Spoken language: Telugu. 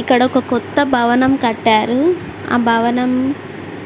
ఇక్కడ ఒక కొత్త భవనం కట్టారు ఆ భవనం